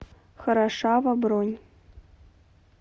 хорошава бронь